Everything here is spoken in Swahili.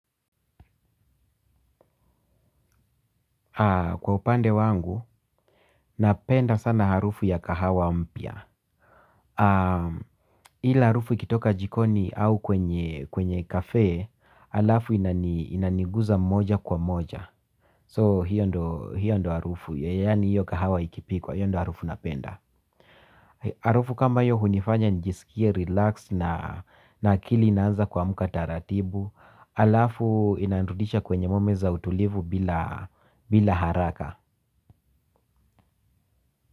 Kwa upande wangu, napenda sana harufu ya kahawa mya. Hila harufu ikitoka jikoni au kwenye kafe, alafu inaniguza moja kwa moja So hiyo ndo harufu, yani hiyo kahawa ikipikwa, hiyo ndo harufu napenda. Harufu kama hiyo hunifanya njisikie, relax na akili inaanza kuamka taratibu. Alafu inanurudisha kwenye moments za utulivu bila haraka.